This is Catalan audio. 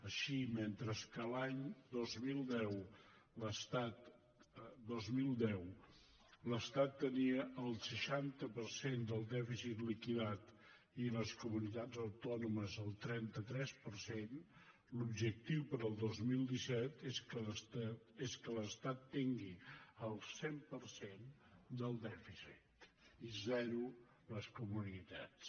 així mentre que a l’any dos mil deu l’estat tenia el seixanta per cent del dèficit liquidat i les comunitats autònomes el trenta tres per cent l’objectiu per al dos mil disset és que l’estat tingui el cent per cent del dèficit i zero les comunitats